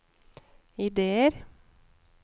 ideer